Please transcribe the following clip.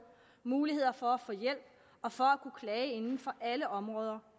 muligheder for at få hjælp og for at kunne klage inden for alle områder